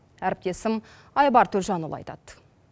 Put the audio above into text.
әріптесім айбар төлжанұлы айтады